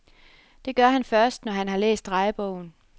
Det gør han først, når han har læst drejebogen.